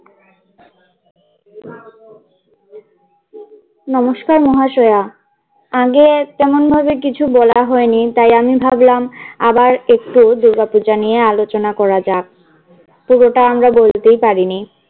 নমস্কার মহাশয়া। আগে তেমন ভাবে কিছু বলা হয় নি তাই আমি ভাবলাম আবার একটু দুর্গাপূজা নিয়ে আলোচনা করা যাক। পুরোটা আমরা বলতেই পারি নি।